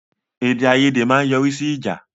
Èdè-àiyèdè ma n yọrí sí ìjà